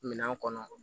Minɛn kɔnɔ